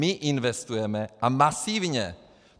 My investujeme, a masivně.